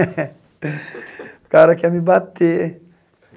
O cara quer me bater.